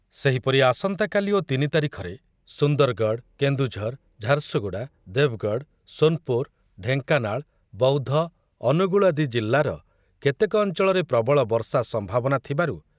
ସେହିପରି ଆସନ୍ତାକାଲି ଓ ତିନି ତାରିଖରେ ସୁନ୍ଦରଗଡ଼, କେନ୍ଦୁଝର, ଝାରସୁଗୁଡ଼ା, ଦେବଗଡ଼, ସୋନପୁର, ଢେଙ୍କାନାଳ, ବୌଦ୍ଧ, ଅନୁଗୁଳ ଆଦି ଜିଲ୍ଲାର କେତେକ ଅଞ୍ଚଳରେ ପ୍ରବଳ ବର୍ଷା ସମ୍ଭାବନା ଥିବାରୁ